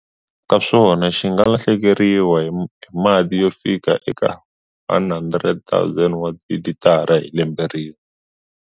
Ka swona xi nga lahlekeriwa hi mati yo fika eka 100 000 wa tilitara hi lembe rin'we.